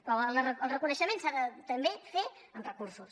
però el reconeixement s’ha de també fer amb recursos